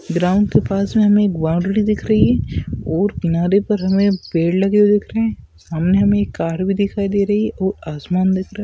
Ground के पास में हमें एक बाउंड्री दिख रही है और किनारे पर हमें पेड़ लगे हुए दिखरहे है सामने हमें एक कार भी दिखाई दे रही है और आसमान देख रहा।